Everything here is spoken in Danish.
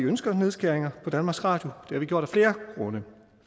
ønsker nedskæringer i danmarks radio